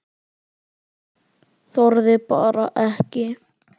Þorði bara ekki.